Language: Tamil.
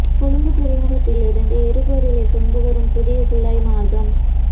கொழும்புத் துறைமுகத்தில் இருந்து எரிபொருளைக் கொண்டு வரும் புதிய குழாய் மார்க்கம்